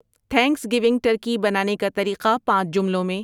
thanks going turkey بنانے کا طریقہ پانچ جملوں میں